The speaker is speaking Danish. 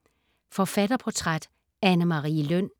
Forfatterportræt: Anne Marie Løn